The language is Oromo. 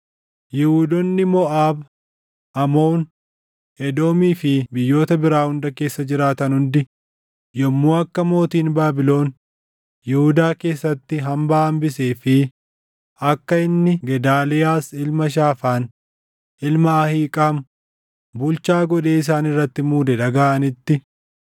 Yihuudoonni Moʼaab, Amoon, Edoomii fi biyyoota biraa hunda keessa jiraatan hundi yommuu akka mootiin Baabilon Yihuudaa keessatti hambaa hambisee fi akka inni Gedaaliyaas ilma Shaafaan ilma Ahiiqaam bulchaa godhee isaan irratti muude dhagaʼanitti,